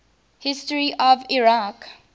history of iraq